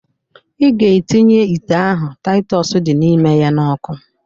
Ị ga-etinye ite ahụ Taịtọs dị n'ime ya n'ọkụ.